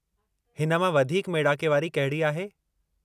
हिन मां वधीक मेड़ाके वारी कहिड़ी आहे?